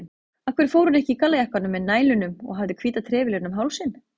Af hverju fór hún ekki í gallajakkann með nælunum og hafði hvíta trefilinn um hálsinn?